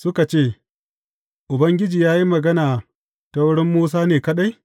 Suka ce, Ubangiji ya yi magana ta wurin Musa ne kaɗai?